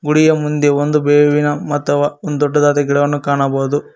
ಗುಡಿಯ ಮುಂದೆ ಒಂದು ಬೇವಿನ ಮತವ ಒಂದು ದೊಡ್ಡದಾದ ಗಿಡವನ್ನು ಕಾಣಬಹುದು.